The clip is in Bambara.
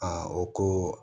o ko